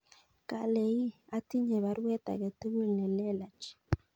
Kale ii atinye baruet age tugul nelelach